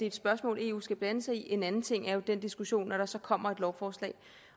et spørgsmål eu skal blande sig i en anden ting er jo den diskussion når der så kommer et lovforslag